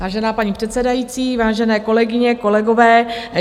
Vážená paní předsedající, vážené kolegyně, kolegové.